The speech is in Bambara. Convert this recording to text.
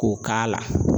K'o k'a la